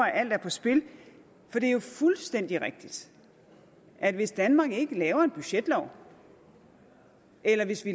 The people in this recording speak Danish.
at alt er på spil det er jo fuldstændig rigtigt at hvis danmark ikke vedtager en budgetlov eller hvis vi